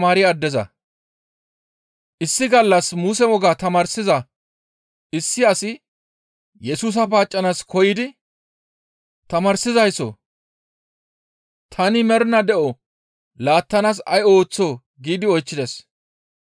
Issi gallas Muse wogaa tamaarsiza issi asi Yesusa paaccanaas koyidi, «Tamaarsizayssoo! Tani mernaa de7o laattanaas ay ooththoo?» giidi oychchides.